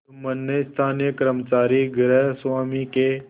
जुम्मन ने स्थानीय कर्मचारीगृहस्वामीके